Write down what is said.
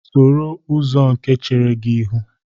soro ụzọ nke chere gị ihu